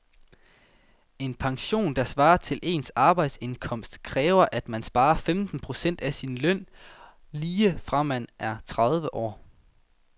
En pension, der svarer til ens arbejdsindkomst, kræver at man sparer femten procent af sin løn op lige fra man er tredive år.